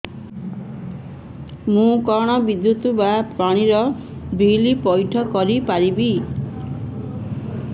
ମୁ କଣ ବିଦ୍ୟୁତ ବା ପାଣି ର ବିଲ ପଇଠ କରି ପାରିବି